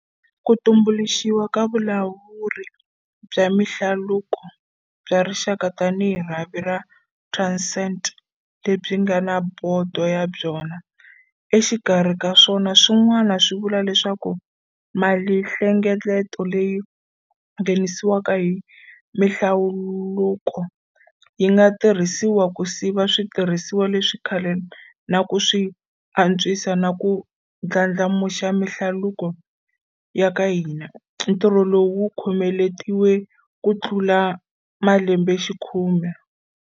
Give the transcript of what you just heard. Ku tumbuluxiwa ka Vulawuri bya Mihlaluko bya Rixaka tanihi rhavi ra Transnet lebyi nga na bodo ya byona, exikarhi ka swilo swin'wana, swi vula leswaku malinhle ngeleto leyi nghenisiwaka hi mihlaluko yi nga tirhisiwa ku siva switirhisiwa leswa khale na ku swi antswisa na ku ndlandlamuxa mihlaluko ya ka hina, ntirho lowu wu khomeletiweke kutlula malembexikhume.